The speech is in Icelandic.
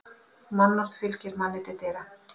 Mannorð fylgir manni til dyra.